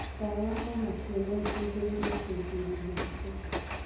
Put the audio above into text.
Ndawa onacio noiteithie kũrigĩrĩria higo